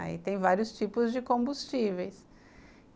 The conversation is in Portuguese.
Aí tem vários tipos de combustíveis.